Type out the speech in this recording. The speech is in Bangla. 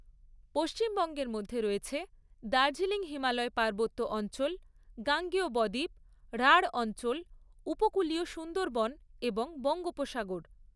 পশ্চিমবঙ্গের মধ্যে রয়েছে দার্জিলিং হিমালয় পার্বত্য অঞ্চল, গাঙ্গেয় ব দ্বীপ, রাঢ় অঞ্চল, উপকূলীয় সুন্দরবন এবং বঙ্গোপসাগর।